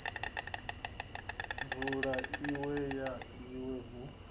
vunu iwe na iwe hu